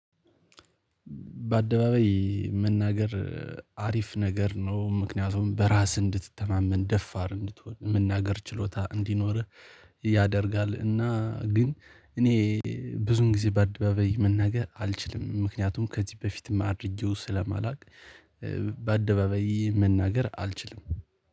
በአደባባይ መናገር አሪፍ ነገር ነው ምክንያቱም በራስህ እንድትተማመን ደፋር እንድትሆን መናገር ችሎታ እንዲኖርህ ያደርጋል። እና ግን እኔ ብዙን ጊዜ በአደባባይ መናገር አልችልም። ምክንያቱም ከዚህ በፊትም አድርጌው ስለማላውቅ መናገር አልችልም